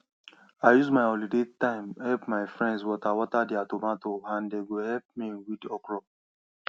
i use my holiday time help my friends water water their tomato and dem go help me weed okro